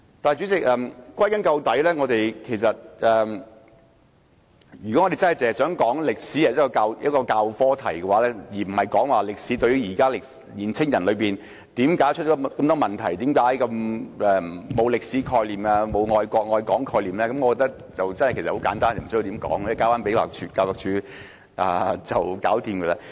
代理主席，歸根究底，如果我們只想談論中史科的事宜，而不是談論現時的青年人為何出了那麼多問題、為何他們沒有歷史和愛國愛港的概念，我覺得問題很簡單，無須多作討論，讓教育署解決即可。